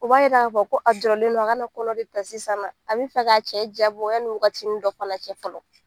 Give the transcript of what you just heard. U b'a yira k'a fɔ ko a jɔrɔnlen don a kana kɔnɔ de ta sisana a bɛ fɛ k'a cɛ jabɔ yani waati dɔ fana cɛ fɔlɔ.